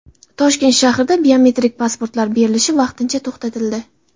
Toshkent shahrida biometrik pasportlar berilishi vaqtincha to‘xtatildi.